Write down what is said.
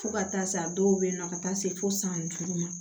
Fo ka taa se a dɔw bɛ yen nɔ ka taa se fo san duuru ma